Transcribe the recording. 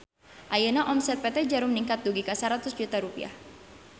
Ayeuna omset PT Djarum ningkat dugi ka 100 juta rupiah